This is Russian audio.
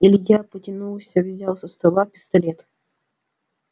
илья потянулся взял со стола пистолет